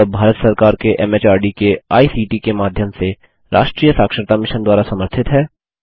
यह भारत सरकार के एमएचआरडी के आईसीटी के माध्यम से राष्ट्रीय साक्षरता मिशन द्वारा समर्थित है